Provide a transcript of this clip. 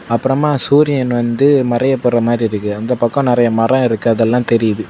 அப்பறமா சூரியன் வந்து மறைய போற மாரிருக்கு அந்த பக்கம் நெறைய மர இருக்கு அதெல்லா தெரியுது.